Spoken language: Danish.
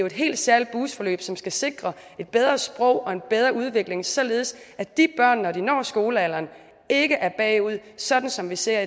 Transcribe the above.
et helt særligt boostforløb som skal sikre et bedre sprog og en bedre udvikling således at de børn når de når skolealderen ikke er bagud sådan som vi ser